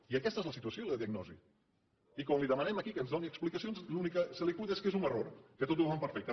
i aquestes són la situació i la diagnosi i quan li demanem aquí que ens doni explicacions l’únic que se li acut és que és un error que tot ho fan perfecte